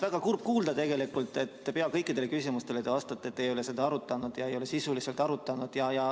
Väga kurb kuulda tegelikult, et te peaaegu kõikidele küsimustele vastate, et te ei ole seda sisuliselt arutanud.